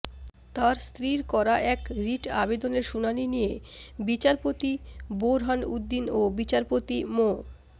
তার স্ত্রীর করা এক রিট আবেদনের শুনানি নিয়ে বিচারপতি বোরহান উদ্দিন ও বিচারপতি মো